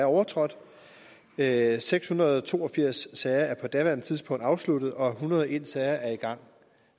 overtrådt at seks hundrede og to og firs sager på daværende tidspunkt er afsluttet og at en hundrede og en sager er i gang